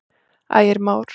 Ægir Már.